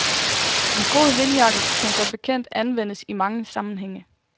En god vindjakke kan som bekendt anvendes i mange sammenhænge.